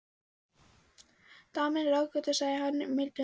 Daman er ráðgáta, sagði hann mildum rómi.